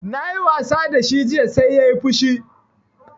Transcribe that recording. Na yi wasa da shi jiya sai yayi fushi